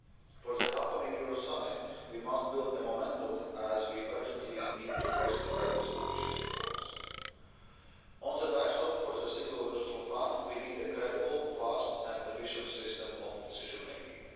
For the upcoming Euro summit, we must build a momentum, as we urgently need to press ahead with ambitious reforms. On the backstop for the Single Resolution Fund, we need a credible, fast and efficient system of decision making.